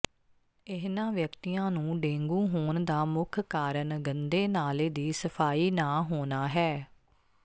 ਇਨ੍ਹਾਂ ਵਿਅਕਤੀਆਂ ਨੂੰ ਡੇਂਗੂ ਹੋਣ ਦਾ ਮੁੱਖ ਕਾਰਨ ਗੰਦੇ ਨਾਲੇ ਦੀ ਸਫਾਈ ਨਾ ਹੋਣਾ ਹੈ